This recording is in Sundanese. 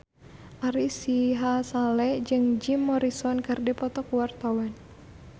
Ari Sihasale jeung Jim Morrison keur dipoto ku wartawan